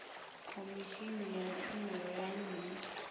khomishini ya tshumelo ya nnyi